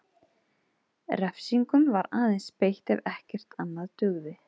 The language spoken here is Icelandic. Refsingum var aðeins beitt ef ekkert annað dugði.